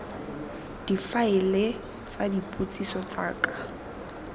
difaele tsa dipotsiso tsa ka